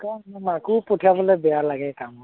এনেকুৱাত মাকো পঠিয়াবলে বেয়া লাগে কামত